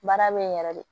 Baara be yen yɛrɛ de